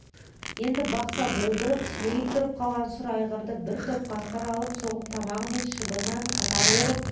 енді бақса болдырып сілейіп тұрып қалған сұр айғырды бір топ қасқыр алып соғып тамағы мен шабынан қатар орып